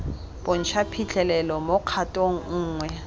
bontsha phitlhelelo mo kgatong nngwe